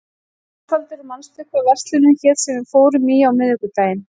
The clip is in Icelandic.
Ósvaldur, manstu hvað verslunin hét sem við fórum í á miðvikudaginn?